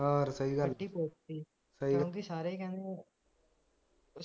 ਹਾਂ ਯਾਰ ਸਹੀ ਗੱਲ